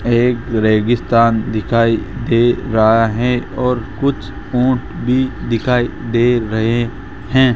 एक रेगिस्तान दिखाई दे रहा है और कुछ ऊंट भी दिखाई दे रहे हैं।